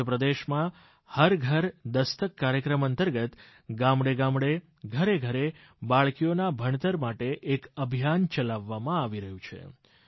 મધ્યપ્રદેશમાં હર ઘર દસ્તક કાર્યક્રમ અંતર્ગત ગામડેગામડે ઘરેઘરે બાળકીઓના ભણતર માટે એક અભિયાન ચલાવવામાં આવી રહ્યું છે